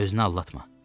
Özünü aldatma.